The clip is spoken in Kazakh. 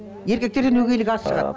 еркектерден өгейлік аз шығады